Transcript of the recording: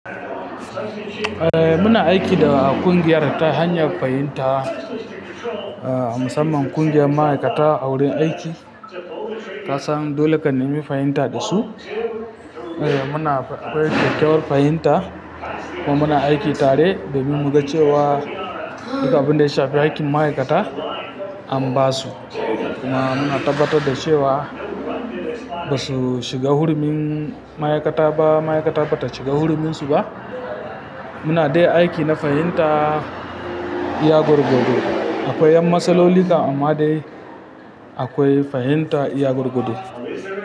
Eh muna aiki da ƙungiyar ta hanyar fahimta, a musamman ƙungiyar ma'aikata a wurin aiki. Kasan dole ka nemi fahimta da su. Eh muna akwai kyakkyawar fahimta kuma muna aiki tare da mu mu ga cewa dukan abin da ya shafi hakin ma'aikata an ba su. Kuma muna tabbatar da cewa ba su shiga hurumin ma'aikata ba, ma'aikata bata shiga huraminsu ba. Muna dai aiki na fahimta iya gwargward. Akwai 'yan matsaloli kan amma dai akwai fahimta iya gwargwardo.